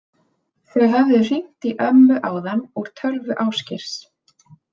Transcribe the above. Þau höfðu hringt í ömmu áðan úr tölvu Ásgeirs.